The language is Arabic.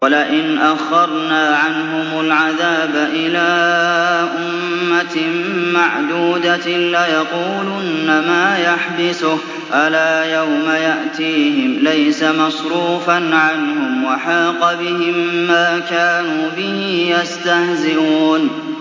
وَلَئِنْ أَخَّرْنَا عَنْهُمُ الْعَذَابَ إِلَىٰ أُمَّةٍ مَّعْدُودَةٍ لَّيَقُولُنَّ مَا يَحْبِسُهُ ۗ أَلَا يَوْمَ يَأْتِيهِمْ لَيْسَ مَصْرُوفًا عَنْهُمْ وَحَاقَ بِهِم مَّا كَانُوا بِهِ يَسْتَهْزِئُونَ